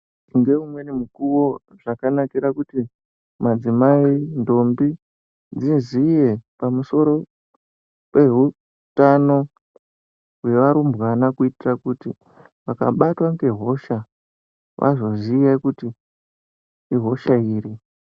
Ngeumweni mukuwo zvakanakira kuti madzimai, ndombi dziziye pamusoro peutano hwevarumbwana kuitira kuti vakabatwa ngehosha vazoziye kuti ihosha iri.